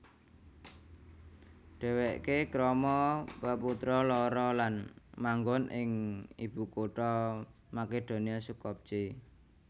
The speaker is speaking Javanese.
Dhèwèké krama peputra loro lan manggon ing ibukutha Makedonia Skopje